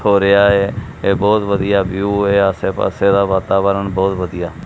ਹੋ ਰਿਹਾ ਐ ਇਹ ਬਹੁਤ ਵਧੀਆ ਵਿਊ ਐ ਆਸੇ ਪਾਸੇ ਦਾ ਵਾਤਾਵਰਨ ਬਹੁਤ ਵਧੀਆ।